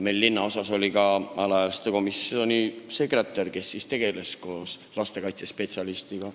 Meie linnaosas oli ka alaealiste komisjoni sekretär, kes tegutses koos lastekaitse spetsialistiga.